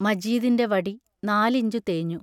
മജീദിന്റെ വടി നാലിഞ്ചു തേഞ്ഞു.